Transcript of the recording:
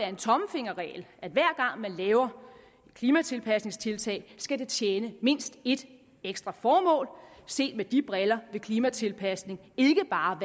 en tommelfingerregel at hver gang man laver et klimatilpasningstiltag skal det tjene mindst et ekstra formål set med de briller vil klimatilpasning ikke bare